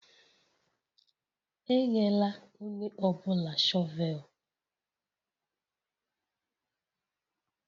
Enyela onye ọ bụla shọvel!